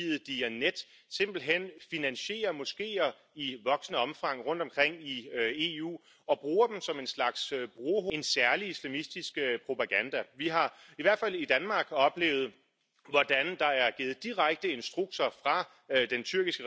Tot directiva introduce excepții de la principiul dublei incriminări pentru toate infracțiunile grave, face posibilă urmărirea penală și condamnarea spălării de bani, chiar dacă activitatea infracțională care a generat bunurile a fost comisă într o altă țară și așa mai departe. Deci vom avea infracțiuni comune pentru toate statele membre pentru spălarea de bani.